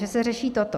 Že se řeší toto.